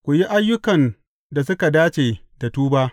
Ku yi ayyukan da suka dace da tuba.